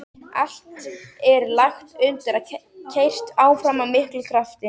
Allt er lagt undir og keyrt áfram af miklum krafti.